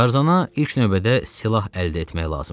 Tarzana ilk növbədə silah əldə etmək lazım idi.